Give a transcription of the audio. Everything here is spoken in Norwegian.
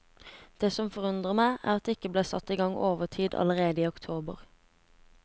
Det som forundrer meg, er at det ikke ble satt i gang overtid allerede i oktober.